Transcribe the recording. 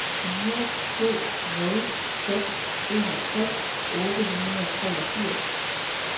fire to nul seks enogtres otte hundrede og treogfirs